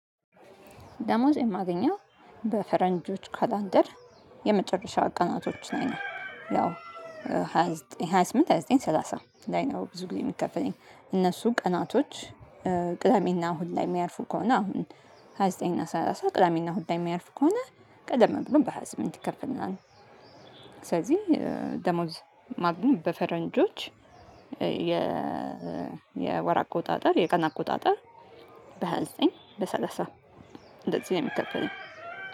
ደሞዝ የማገኘው በፈረንጆች ካላንደር የመጨረሻ ቀናቶች ላይ ነው። ያው ሃያ ዘጠኝ ሃያ ስምንት ሃያ ዘጠኝ ሰላሳ ላይ ነው። ብዙ ጊዜ የሚከፈለኝ እነሱ ቀናቶች። ቅዳሜና እሁድ ላይ የሚያርፉ ከሆነ አሁን ሃያ ዘጠኝ እና ሰላሳ ቅዳሜና እሁድ ላይ የሚያርፉ ከሆነ ቀደም ብሎም በሃያ ስምንት ይከፈልናል። ስለዚህ ደሞዝ ማግኘት በፈረንጆች የ የወር አቆጣጠር የቀን አቆጣጠር በሃያ ዘጠኝ በሰላሳ እንደዚህ ነው የሚከፈለኝ